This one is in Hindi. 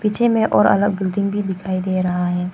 पीछे में और अलग बिल्डिंग भी दिखाई दे रहा है।